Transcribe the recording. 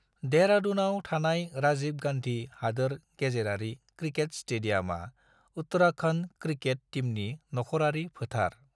देहरादूनआव थानाय राजीव गान्धी हादोर गेजेरारि क्रिकेट स्टेडियामा उत्तराखन्ड क्रिकेट टीमनि नखरारि फोथार।